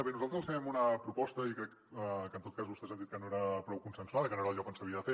bé nosaltres els fèiem una proposta i crec que en tot cas vostès han dit que no era prou consensuada i que no era el lloc on s’havia de fer